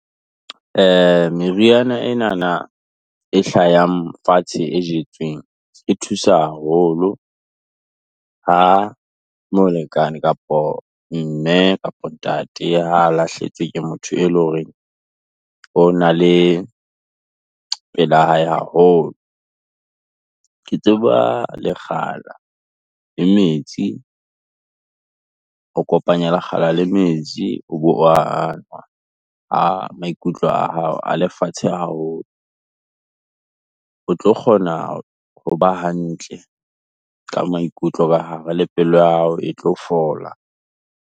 Meriana enana, e hlayang fatshe e jetsweng, e thusa haholo, ha molekane kapa Mme kapa Ntate ha lahlehetswe ke motho eo e leng hore o na le pela hae haholo. Ke tseba lekgala le metsi, o kopanya lekgala le metsi o bo o wa nwa, ha a maikutlo a hao a le fatshe haholo, o tlo kgona ho ba hantle, ka maikutlo le pelo ya hao e tlo fola.